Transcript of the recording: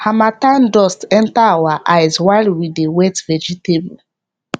harmattan dust enter our eyes while we dey wet vegetable